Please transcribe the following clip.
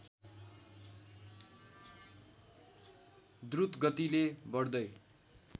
द्रुत गतिले बढ्दै